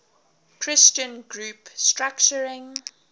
christian group structuring